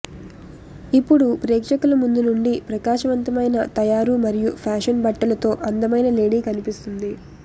ఇప్పుడు ప్రేక్షకుల ముందు నుండి ప్రకాశవంతమైన తయారు మరియు ఫ్యాషన్ బట్టలు తో అందమైన లేడీ కనిపిస్తుంది